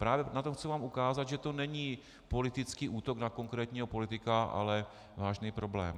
Právě na tom vám chci ukázat, že to není politický útok na konkrétního politika, ale vážný problém.